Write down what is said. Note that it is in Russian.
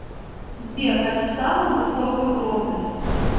сбер хочу самую высокую громкость